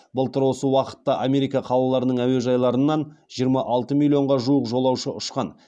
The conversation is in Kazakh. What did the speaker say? былтыр осы уақытта америка қалаларының әуежайларынан жиырма алты миллионға жуық жолаушы ұшқан